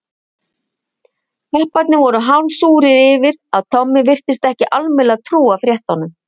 Kapparnir voru hálf súrir yfir að Tommi virtist ekki almennilega trúa fréttunum.